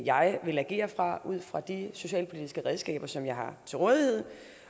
jeg vil agere ud fra med de socialpolitiske redskaber som jeg har til rådighed